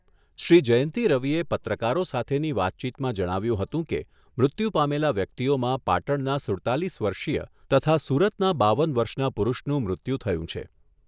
શ્રી જયંતી રવિએ પત્રકારો સાથેની વાતચીતમાં જણાવ્યુંં હતું કે, મૃત્યુ પામેલા વ્યક્તિઓમાં પાટણના સુડતાલીસ વર્ષીય તથા સુરતના બાવન વર્ષના પુરુષનું મૃત્યું થયું છે.